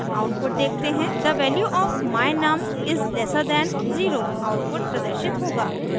और आउटपुट देखते हैं the value of my_num is lesser than 0 output प्रदर्शित होगा